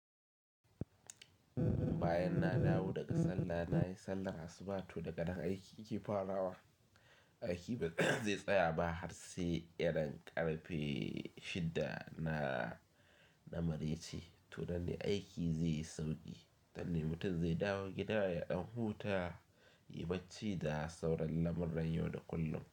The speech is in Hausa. Bayan na dawo daga Sallah, nayi Sallar Asuba to daganan aiki ke farawa. Aiki ba zai tsaya ba har sai irin ƙarfe shida na, na marece. To nan ne aiki zai yi sauƙi, nanne mutum zai dawo gida ya ɗan huta, yayi barci da sauran lamurran yau da kullum.